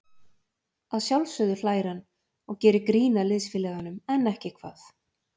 Að sjálfsögðu hlær hann og gerir grín að liðsfélaganum, en ekki hvað?